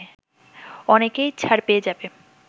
অনেকেই ছাড় পেয়ে যাবে”